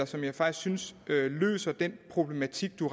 som jeg faktisk synes løser den problematik som